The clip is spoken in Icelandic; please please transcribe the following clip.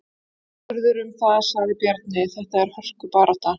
Aðspurður um það sagði Bjarni: Þetta er hörku barátta.